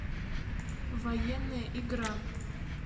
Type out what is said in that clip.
военная игра